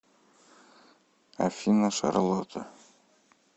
афина шарлотта